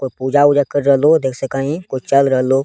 कोय पूजा-उजा कर रहलो देख सके हीं कोय चल रहलो।